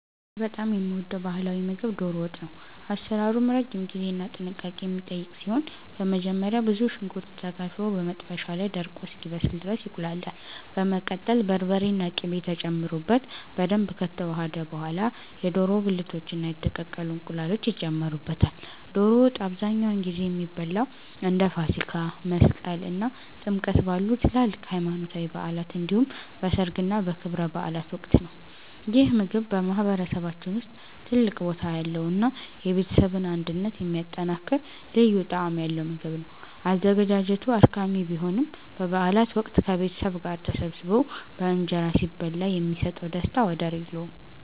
እኔ በጣም የምወደው ባህላዊ ምግብ 'ዶሮ ወጥ' ነው። አሰራሩም ረጅም ጊዜና ጥንቃቄ የሚጠይቅ ሲሆን፣ በመጀመሪያ ብዙ ሽንኩርት ተከትፎ በመጥበሻ ላይ ደርቆ እስኪበስል ድረስ ይቁላላል። በመቀጠል በርበሬና ቅቤ ተጨምሮበት በደንብ ከተዋሃደ በኋላ፣ የዶሮ ብልቶችና የተቀቀሉ እንቁላሎች ይጨመሩበታል። ዶሮ ወጥ አብዛኛውን ጊዜ የሚበላው እንደ ፋሲካ፣ መስቀል እና ጥምቀት ባሉ ትላልቅ ሃይማኖታዊ በዓላት እንዲሁም በሠርግና በክብረ በዓላት ወቅት ነው። ይህ ምግብ በማህበረሰባችን ውስጥ ትልቅ ቦታ ያለውና የቤተሰብን አንድነት የሚያጠናክር ልዩ ጣዕም ያለው ምግብ ነው። አዘገጃጀቱ አድካሚ ቢሆንም፣ በበዓላት ወቅት ከቤተሰብ ጋር ተሰባስቦ በእንጀራ ሲበላ የሚሰጠው ደስታ ወደር የለውም።